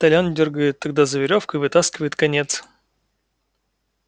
толян дёргает тогда за верёвку и вытаскивает конец